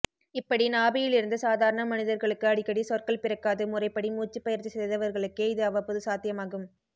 இப்படி நாபியிலிருந்து சாதாரண மனிதர்களுக்கு அடிக்கடி சொற்கள் பிறக்காது முறைப்படி மூச்சி பயிற்சி செய்தவர்களுக்கே இது அவ்வபோது சாத்தியமாகும்